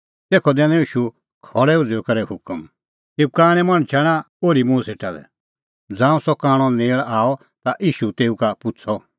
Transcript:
तेखअ दैनअ ईशू खल़ै उझ़ुई करै हुकम एऊ कांणै मणछा आणा ओर्ही मुंह सेटा लै ज़ांऊं सह कांणअ नेल़ आअ ता ईशू तेऊ का पुछ़अ